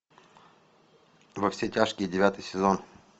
во все тяжкие девятый сезон